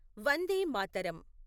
Vande Mataram